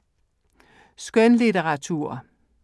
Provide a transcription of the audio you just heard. Skønlitteratur